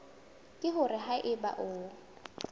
ke hore ha eba o